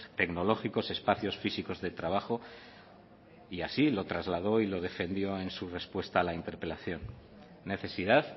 tecnológicos espacios físicos de trabajo y así lo trasladó y lo defendió en su respuesta a la interpelación necesidad